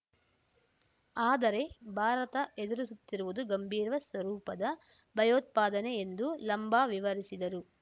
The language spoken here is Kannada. ಆದರೆ ಭಾರತ ಎದುರಿಸುತ್ತಿರುವುದು ಗಂಭೀರ ಸ್ವರೂಪದ ಭಯೋತ್ಪಾದನೆ ಎಂದೂ ಲಂಬಾ ವಿವರಿಸಿದರು